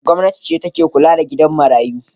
Gwamnati ce take kula da gidan marayu.